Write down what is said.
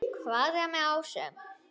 Hvað er með ásum?